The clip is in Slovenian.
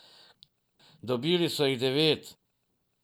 Dobili so jih devet.